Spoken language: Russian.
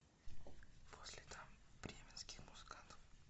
по следам бременских музыкантов